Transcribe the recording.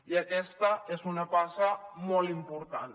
i aquesta és una passa molt important